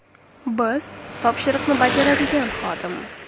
Biz topshiriqni bajaradigan xodimmiz.